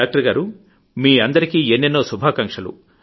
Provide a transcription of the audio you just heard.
doctor గారూ మీ అందరికీ ఎన్నెన్నో శుభాకాంక్షలు